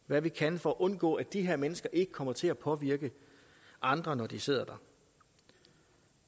hvad vi kan for at undgå at de her mennesker kommer til at påvirke andre når de sidder der